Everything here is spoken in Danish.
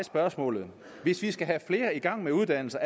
spørgsmålet hvis vi skal have flere i gang med at uddanne sig